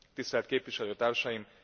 Tisztelt Képviselőtársaim!